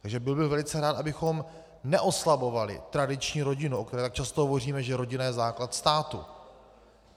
Takže byl bych velice rád, abychom neoslabovali tradiční rodinu, o které tak často hovoříme, že rodina je základ státu.